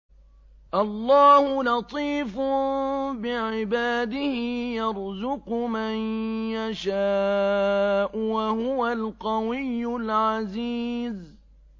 اللَّهُ لَطِيفٌ بِعِبَادِهِ يَرْزُقُ مَن يَشَاءُ ۖ وَهُوَ الْقَوِيُّ الْعَزِيزُ